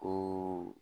Ko